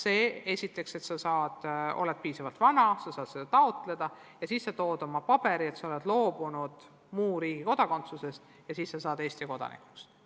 Edasi ootab ta, millal ta saab piisavalt vanaks, et saab kodakondsust taotleda, siis esitab dokumendi, et ta on loobunud muu riigi kodakondsusest, ja saabki Eesti kodanikuks.